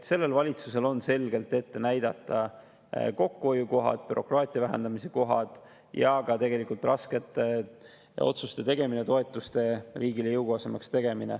Sellel valitsusel on selgelt ette näidata kokkuhoiukohad, bürokraatia vähendamise kohad ja tegelikult ka raskete otsuste tegemine ja toetuste tegemine riigile jõukohasemaks.